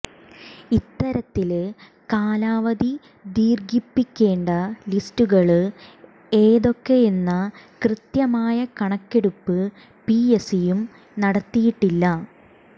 ഇത്തരത്തില് കാലാവധി ദീര്ഘിപ്പിക്കേണ്ട ലിസ്റ്റുകള് ഏതൊക്കെയെന്ന കൃത്യമായ കണക്കെടുപ്പ് പിഎസ്സിയും നടത്തിയിട്ടില്ല